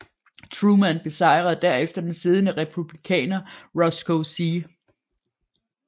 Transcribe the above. Truman besejrede derefter den siddende Republikaner Roscoe C